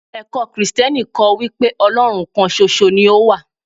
ẹkọ Kristẹni kọ́ wípé Olorun kan ṣoṣo ni o wa